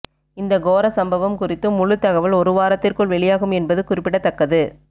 இந்த கோர சம்பவம் குறித்து முழுத்தகவல் ஒரு வாரத்திற்குள் வெளியாகும் என்பது குறிப்பிடத்தக்கது